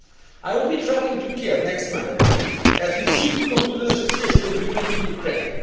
Moldova. I will be travelling to Kiev next Monday, as we seek to conclude an Association Agreement with